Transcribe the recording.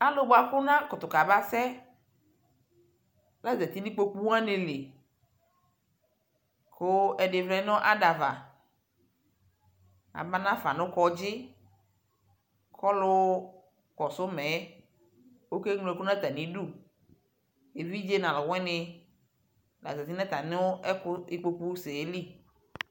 Alʋ bua kʋ anakʋtʋ kabasɛla zati nʋ ikpokʋ wani lι kʋ ɛdι vlɛ nʋ ada ava Abanafa nʋ kɔdzi kʋ ɔlʋ kɔsuma yɛokewlo ɛkʋ nʋ atami udu Evidze nʋ alʋwini la zati nʋ atami ɔkʋ ikpokʋsɛ yɛ lι